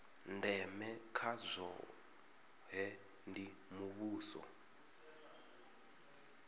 ndeme kha zwohe ndi mushumo